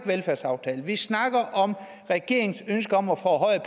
velfærdsaftalen vi snakker om regeringens ønske om at forhøje